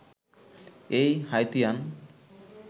এই হাইতিয়ান